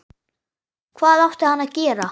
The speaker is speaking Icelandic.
Hvað átti hann að gera?